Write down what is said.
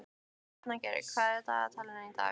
Arngerður, hvað er í dagatalinu í dag?